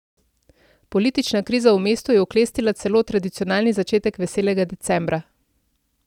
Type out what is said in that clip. Politična kriza v mestu je oklestila celo tradicionalni začetek veselega decembra.